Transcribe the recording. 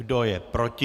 Kdo je proti?